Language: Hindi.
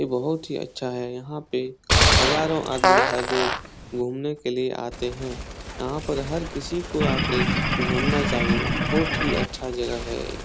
ये बहुत ही अच्छा है। यहाँ पे हजारों आदमी हर रोज घूमने के लिए आते हैं। यहाँ पर हर किसी को आके घूमना चाहिए बहुत ही अच्छा जगह है ये।